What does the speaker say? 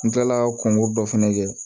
N kilala kɔnkɔ dɔ fɛnɛ kɛ